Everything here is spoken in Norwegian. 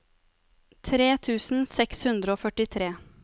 tre tusen seks hundre og førtitre